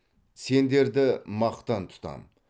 сендерді мақтан тұтамын